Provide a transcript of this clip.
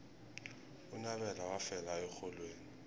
unyabela wafela erholweni